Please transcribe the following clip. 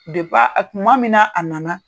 kuma min na a nana